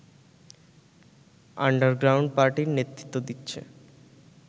underground পার্টির নেতৃত্ব দিচ্ছে